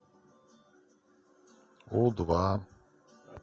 у два